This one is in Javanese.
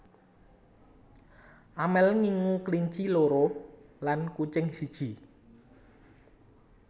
Amel ngingu kelinci loro lan kucing siji